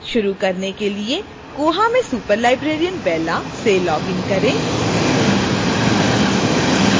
शुरू करने के लिए koha में superlibrarian bella से login करें